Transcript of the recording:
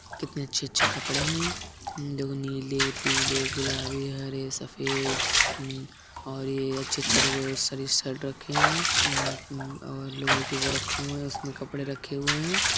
कितने अच्छे-अच्छे कपड़े है देखो नीले पीले गुलाबी हरे सफ़ेद अ ऊपर ये अच्छे-अच्छे सारी शर्ट रखे है उँ उँ और लोहे के वो रखे हुए हैं उसमे कपडे रखे हुए हैं।